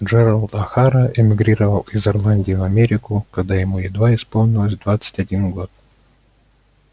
джералд охара эмигрировал из ирландии в америку когда ему едва исполнилося двадцать один год